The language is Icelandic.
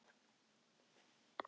Hvar eru skórnir mínir?